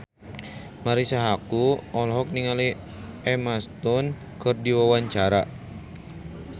Marisa Haque olohok ningali Emma Stone keur diwawancara